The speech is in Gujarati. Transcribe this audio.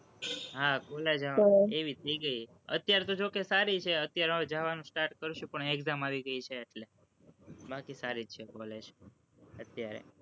હા, college એવી થઇ ગઈ, અત્યારે તો જોકે સારી છે, અત્યારે હવે જાવાનું start કરીશું પણ exam આવી ગઈ છે એટલે બાકી સારી જ છે, college અત્યારે